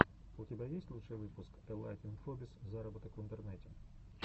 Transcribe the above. у тебя есть лучший выпуск элайт инфобиз зароботок в интернете